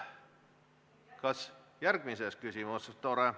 Kas küsite teise küsimuse raames?